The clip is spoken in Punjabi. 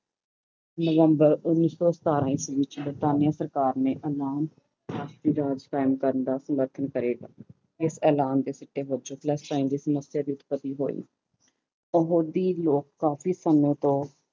ਨਵੰਬਰ ਉੱਨੀ ਸੌ ਸਤਾਰਾਂ ਈਸਵੀ ਵਿੱਚ ਬਰਤਾਨੀ ਸਰਕਾਰ ਨੇ ਐਲਾਨ ਰਾਜ ਕਾਇਮ ਕਰਨ ਦਾ ਸਮਰਥਨ ਕਰੇਗਾ, ਇਸ ਐਲਾਨ ਦੇ ਸਿੱਟੇ ਵਜੋਂ ਦੀ ਸਮੱਸਿਆ ਦੀ ਉਤਪਤੀ ਹੋਈ, ਕੰਬੋਡੀ ਲੋਕ ਕਾਫ਼ੀ ਸਮੇਂ ਤੋਂ